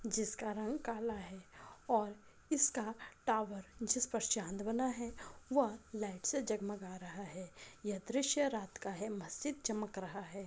जिसका रंग काला है और इसका टावर जिस पर चांद बना है वह लाइट से जगमगा रहा है यह दृश्य रात का है मस्जिद चमक रहा है।